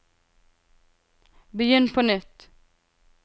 begynn på nytt